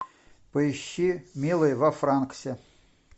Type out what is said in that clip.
поищи милый во франксе